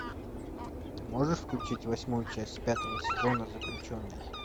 ты можешь включить восьмую часть пятого сезона заключенный